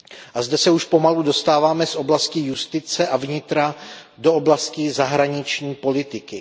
A zde se už pomalu dostáváme z oblasti justice a vnitra do oblasti zahraniční politiky.